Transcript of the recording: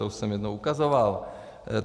To už jsem jednou ukazoval.